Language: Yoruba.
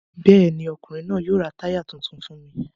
Bẹ́ẹ̀ ni, ọkùnrin náà yóò ra táyà tuntun fún mi.